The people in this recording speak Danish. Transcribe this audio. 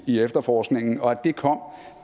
i efterforskningen og at det kom